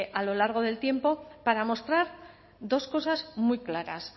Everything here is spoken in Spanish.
a lo largo del tiempo para mostrar dos cosas muy claras